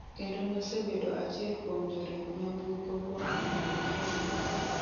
Kendo nosebedo achiel kuom joriemb nyamburkogo kuom higni maromo adek.